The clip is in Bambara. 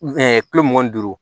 kulo mugan ni duuru